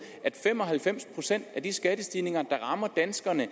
at fem og halvfems procent af de skattestigninger der rammer danskerne i